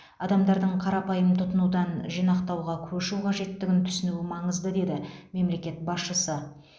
адамдардың қарапайым тұтынудан жинақтауға көшу қажеттігін түсіну маңызды деді мемлекет басшысы